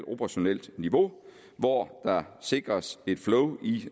operationelt niveau hvor der sikres et flow i